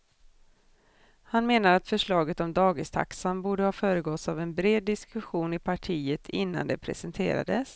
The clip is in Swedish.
Han menar att förslaget om dagistaxan borde ha föregåtts av en bred diskussion i partiet innan det presenterades.